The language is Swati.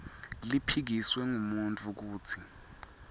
liphikiswe ngumuntfu kutsi